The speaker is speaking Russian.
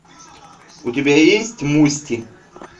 у тебя есть мусти